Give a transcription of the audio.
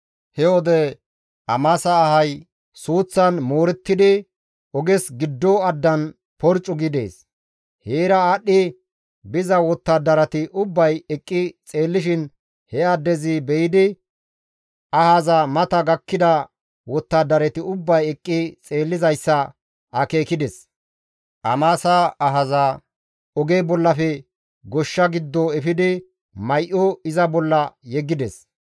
He wode Amasa ahay suuththan moorettidi oges giddo addan porccu gi dees. Heera aadhdhi biza wottadarati ubbay eqqi xeellishin he addezi be7idi ahaza mata gakkida wottadarati ubbay eqqi xeellizayssa akeekides; Amasa ahaza oge bollafe goshsha giddo efidi may7o iza bolla yeggides.